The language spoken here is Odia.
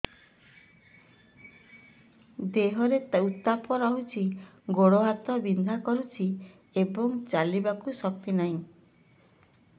ଦେହରେ ଉତାପ ରହୁଛି ଗୋଡ଼ ହାତ ବିନ୍ଧା କରୁଛି ଏବଂ ଚାଲିବାକୁ ଶକ୍ତି ନାହିଁ